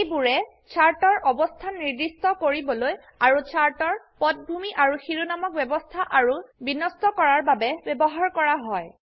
এইবোৰে চাৰ্টৰ অবস্থান নিৰ্দিষ্ট কৰিবলৈ আৰু চাৰ্ট এৰ পটভূমি আৰু শিৰোনামক ব্যবস্থা আৰু বিন্যস্ত কৰাৰ বাবে ব্যবহাৰ কৰা হয়